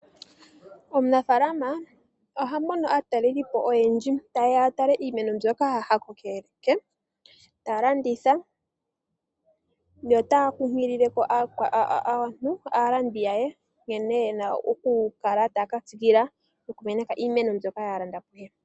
Omunafaalama oha mono aatalelipo oyendji, tayeya ya tale iimeno mbyoka ha kokeke, ta landitha nota kunkilile aantu aalandi ye nkene yena okukala taya ka tsikila oku meneka iimeno mbyoka ya landa kuye.